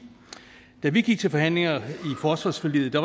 da vi gik til forhandlingerne i forsvarsforliget